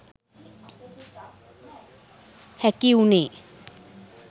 හැකි වුණේ.